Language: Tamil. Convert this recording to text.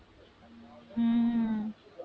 உம்